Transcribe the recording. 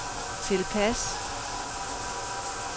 tilpas